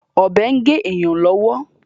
Ọ̀bẹ ń gé èyàn lọ́wọ́.